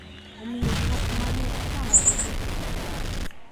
Omiyo ng`at ma ne otamore dhi timo nyango,